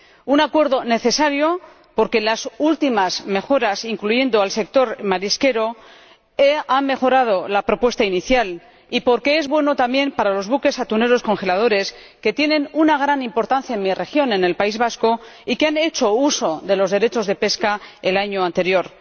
Un acuerdo necesario, porque las últimas modificaciones que incluyen al sector marisquero han mejorado la propuesta inicial, y porque es bueno también para los buques atuneros congeladores que tienen una gran importancia en mi región, en el País Vasco, y que han hecho uso de los derechos de pesca el año anterior.